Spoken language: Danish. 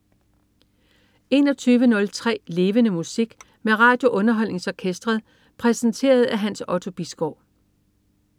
21.03 Levende Musik. Med RadioUnderholdningsOrkestret. Præsenteret af Hans Otto Bisgaard